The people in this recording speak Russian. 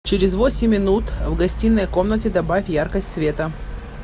через восемь минут в гостиной комнате добавь яркость света